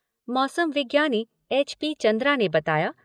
मौसम विज्ञानी H P Chandra ने बताया